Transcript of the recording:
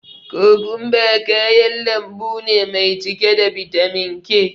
Kokumba kayan lambu ne mai cike da bitamin K.